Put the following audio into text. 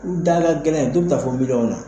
U da ka gɛlɛn, dɔw bɛ taa fɔ miliɲɔn na.